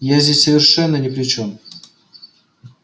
я здесь совершенно ни при чём